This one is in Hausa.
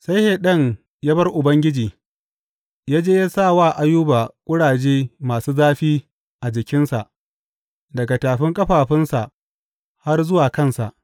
Sai Shaiɗan ya bar Ubangiji, ya je ya sa wa Ayuba ƙuraje masu zafi a jikinsa daga tafin ƙafafunsa har zuwa kansa.